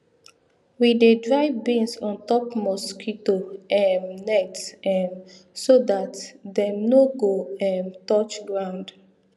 we dey dry beans on top mosquito um net um so that dem nor go um touch ground